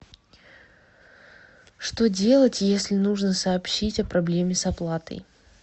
что делать если нужно сообщить о проблеме с оплатой